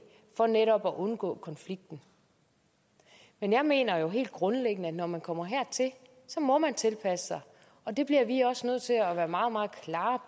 for netop at undgå konflikten men jeg mener jo helt grundlæggende at når man kommer hertil må man tilpasse sig og det bliver vi også nødt til at gøre meget meget klart